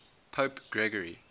pope gregory